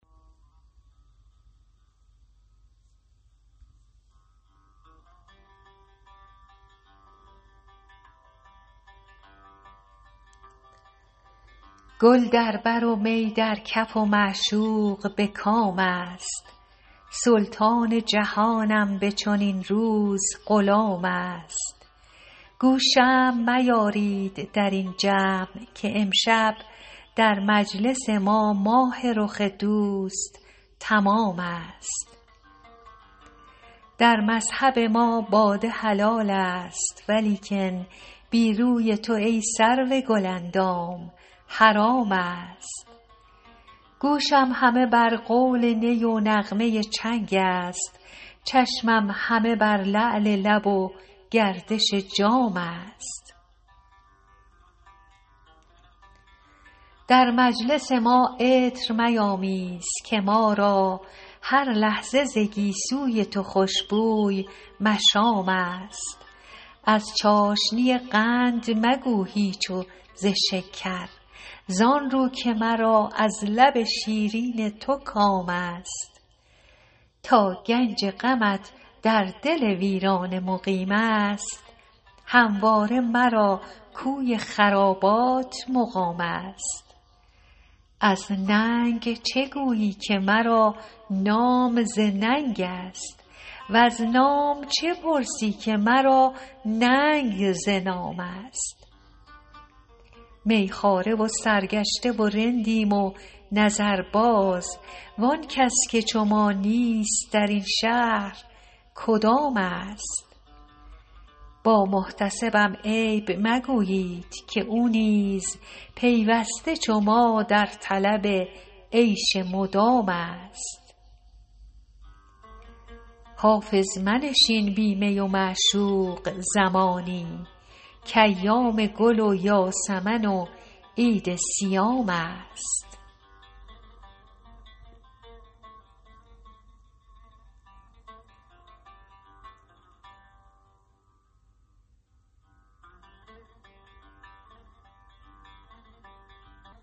گل در بر و می در کف و معشوق به کام است سلطان جهانم به چنین روز غلام است گو شمع میارید در این جمع که امشب در مجلس ما ماه رخ دوست تمام است در مذهب ما باده حلال است ولیکن بی روی تو ای سرو گل اندام حرام است گوشم همه بر قول نی و نغمه چنگ است چشمم همه بر لعل لب و گردش جام است در مجلس ما عطر میامیز که ما را هر لحظه ز گیسو ی تو خوش بوی مشام است از چاشنی قند مگو هیچ و ز شکر زآن رو که مرا از لب شیرین تو کام است تا گنج غمت در دل ویرانه مقیم است همواره مرا کوی خرابات مقام است از ننگ چه گویی که مرا نام ز ننگ است وز نام چه پرسی که مرا ننگ ز نام است می خواره و سرگشته و رندیم و نظرباز وآن کس که چو ما نیست در این شهر کدام است با محتسبم عیب مگویید که او نیز پیوسته چو ما در طلب عیش مدام است حافظ منشین بی می و معشوق زمانی کایام گل و یاسمن و عید صیام است